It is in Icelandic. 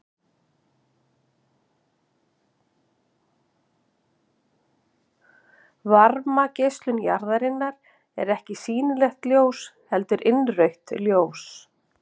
Varmageislun jarðarinnar er ekki sýnilegt ljós heldur innrautt ljós.